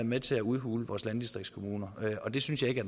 med til at udhule vores landdistriktskommuner og det synes jeg